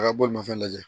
A ka bolimafɛn lajɛ